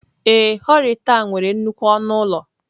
Ee.horitel a nwere nnukwu ọnụ ụlọ.